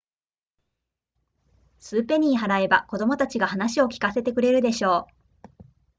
数ペニー払えば子供たちが語を聞かせてくれるでしょう